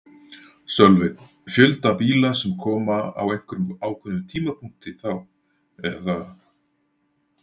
Sölvi: Fjölda bíla sem koma á einhverjum ákveðnum tímapunkti þá eða?